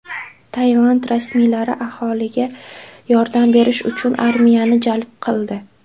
Tailand rasmiylari aholiga yordam berish uchun armiyani jalb qildi.